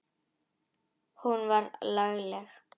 Hún var lagleg.